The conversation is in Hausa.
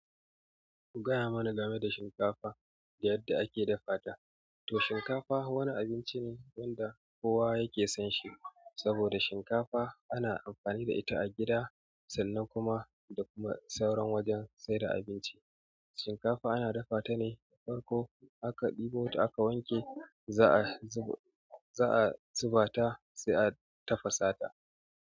Ku gaya mana game da shinkafa da yadda ake dafa ta. To shinkafa wani abinci ne wanda kowa yake son shi. Saboda shinkafa ana amfani da ita a gida, sannan kuma da kuma sauran wajen saida abinci. Shinkafa ana dafa ta ne farko aka ɗebo ta aka wanke za'a zuba za'a zuba ta sai a tafasa ta.